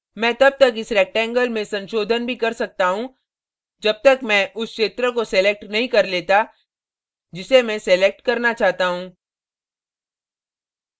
मैं तब तक इस rectangle में संशोधन भी कर सकता हूँ जब तक मैं उस क्षेत्र को selected नहीं कर लेता जिसे मैं सलेक्ट करना चाहता हूँ